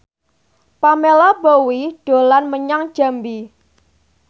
Pamela Bowie dolan menyang Jambi